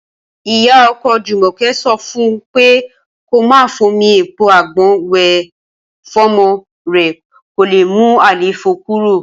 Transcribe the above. Ìyá o̩ko̩ Jùmò̩ké̩ so̩ fún un pé kó máa fomi èpo àgbo̩n wè̩ fọ́mo̩ rè̩ kó le mú àléfó̩ kúrò